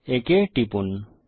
একে টিপুন